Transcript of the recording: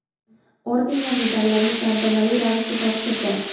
orden va medallarni tantanali ravishda topshirdi.